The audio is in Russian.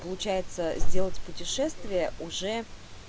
получается сделать путешествие уже